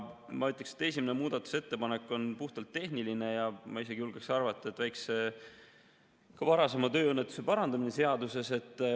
Ma ütleksin, et esimene muudatusettepanek on puhtalt tehniline ja ma isegi julgeksin arvata, et varasema väikse tööõnnetuse parandamine seaduses.